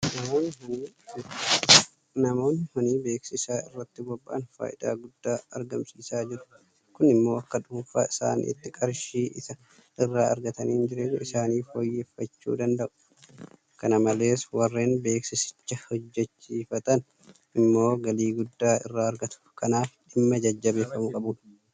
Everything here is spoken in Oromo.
Namoonni honii beeksisaa irratti bobba'an faayidaa guddaa argamsiisaa jiru. Kun immoo akka dhuunfaa isaaniitti qarshii isa irraa argataniin jireenya isaanii fooyyeffachuu danda'u. Kana malees warreen beeksisicha hojjechiifatan immoo galii guddaa irraa argatu. Kanaaf dhimma jajjabeeffamuu qabudha.